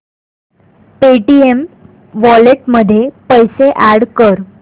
Paytm wallet मध्ये पैसे add कर